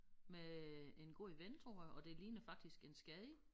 Med en god ven tror jeg og det ligner faktisk en skade